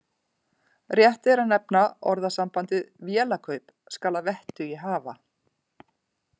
Rétt er að nefna orðasambandið vélakaup skal að vettugi hafa.